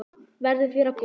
Verði þér að góðu.